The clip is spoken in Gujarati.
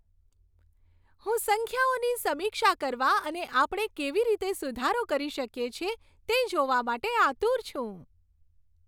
હું સંખ્યાઓની સમીક્ષા કરવા અને આપણે કેવી રીતે સુધારો કરી શકીએ છીએ તે જોવા માટે આતુર છું.